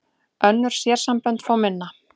Önnur sérsambönd fá minna